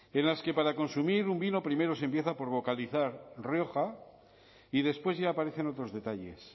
en las que para consumir un vino primero se empieza por vocalizar rioja y después ya aparecen otros detalles